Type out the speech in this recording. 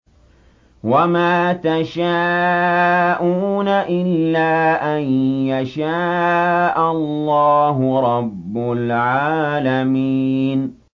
وَمَا تَشَاءُونَ إِلَّا أَن يَشَاءَ اللَّهُ رَبُّ الْعَالَمِينَ